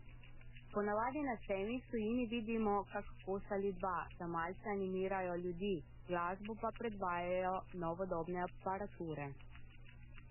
Po navadi na sejmih v tujini vidimo kak kos ali dva, da malce animirajo ljudi, glasbo pa predvajajo novodobne aparature.